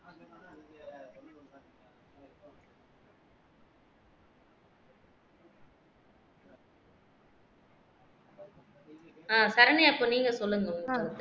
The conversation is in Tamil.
அஹ் சரண்யா இப்போ நீங்க சொல்லுங்க உங்க கருத்த